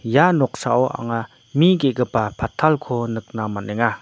ia noksao anga mi ge·gipa patalko nikna man·enga.